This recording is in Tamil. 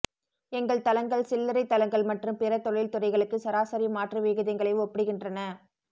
எங்கள் தளங்கள் சில்லறை தளங்கள் மற்றும் பிற தொழில் துறைகளுக்கு சராசரி மாற்று விகிதங்களை ஒப்பிடுகின்றன